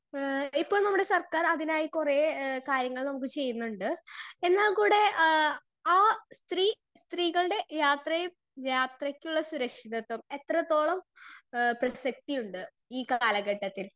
speaker 2 ഏഹ് ഇപ്പോൾ നമ്മുടെ സർക്കാർ അതിനായി കൊറേ എ കാര്യങ്ങൾ നമ്മുക്ക് ചിയുന്നുണ്ട് എന്നാൽ കൂടെ ആ ആ സ്ത്രീ സ്‌ത്രീകൾടെ യാത്രയി യാത്രക്കുള്ള സുരക്ഷിതത്വം എത്രെതോളം എഹ് പ്രസക്തിയുണ്ട് ഈ കാലഘട്ടത്തിൽ